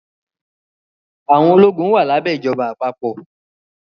Àwọn ológun wà lábẹ́ ìjọba àpapọ̀